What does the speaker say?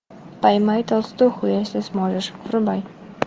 поймай толстуху если сможешь врубай